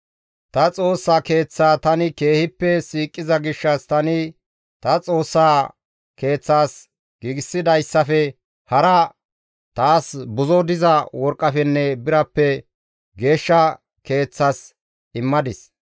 Ta Xoossa Keeththaa tani keehippe siiqiza gishshas tani ta Xoossaa Keeththazas giigsidayssafe hara taas buzo diza worqqafenne birappe geeshsha keeththas immadis.